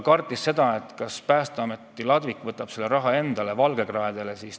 Ernits küsis ka, kas Päästeameti ladvik võtab selle raha endale, kas see läheb valgekraedele.